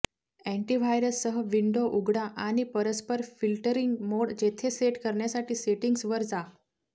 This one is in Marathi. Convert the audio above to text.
अँटीव्हायरस सह विंडो उघडा आणि परस्पर फिल्टरिंग मोड जेथे सेट करण्यासाठी सेटिंग्ज वर जा